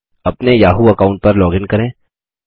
अपने Yahoo account पर login करें